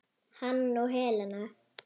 Hann og Helena.